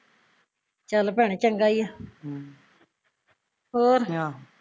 ਚੱਲ ਭੈਣੇ ਚੰਗਾ ਈ ਆ ਹਮ ਹੋਰ ਆਹ